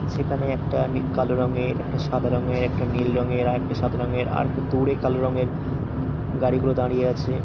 সেখানে একটা নি কালো রঙের একটা সাদা রঙের একটা নীল রঙের আর একটা সাদা রঙের আর একটু দূরে কালো রঙের গাড়িগুলো দাঁড়িয়ে আছে।